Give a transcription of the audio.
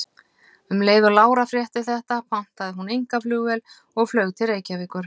Um leið og Lára frétti þetta pantaði hún einkaflugvél og flaug til Reykjavíkur.